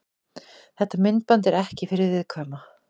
Þetta myndband er ekki fyrir viðkvæma.